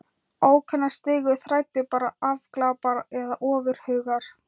Ókunna stigu þræddu bara afglapar eða ofurhugar.